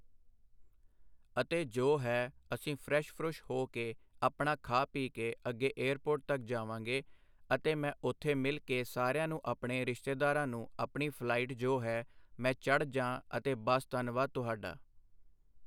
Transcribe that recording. ਅਤੇ ਜੋ ਹੈ ਅਸੀਂ ਫਰੈਸ਼ ਫਰੁੱਸ਼ ਹੋ ਕੇ ਆਪਣਾ ਖਾ ਪੀ ਕੇ ਅੱਗੇ ਏਅਰਪੋਰਟ ਤੱਕ ਜਾਵਾਂਗੇ ਅਤੇ ਮੈਂ ਉੱਥੇ ਮਿਲ ਕੇ ਸਾਰਿਆਂ ਨੂੰ ਆਪਣੇ ਰਿਸ਼ਤੇਦਾਰਾਂ ਨੂੰ ਆਪਣੀ ਫਲਾਈਟ ਜੋ ਹੈ ਮੈਂ ਚੜ੍ਹ ਜਾਂ ਅਤੇ ਬਸ ਧੰਨਵਾਦ ਤੁਹਾਡਾ।